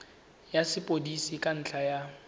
ya sepodisi ka ntlha ya